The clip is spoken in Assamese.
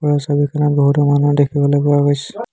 ওপৰৰ ছবিখনত বহুতো মানুহ দেখিবলৈ পোৱা গৈছে।